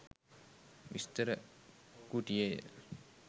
විස්තර කුටියේය